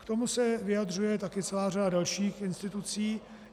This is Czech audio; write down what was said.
K tomu se vyjadřuje taky celá řada dalších institucí.